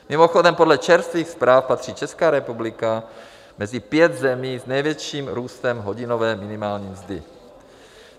Mimochodem, podle čerstvých zpráv patří Česká republika mezi pět zemí s největším růstem hodinové minimální mzdy.